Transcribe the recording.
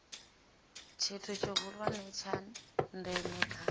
tshithu tshihulwane tsha ndeme kha